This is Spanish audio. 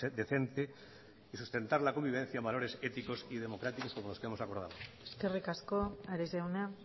decente y sustentar la convivencia en valores éticos y democráticos como los que hemos acordado eskerrik asko ares jauna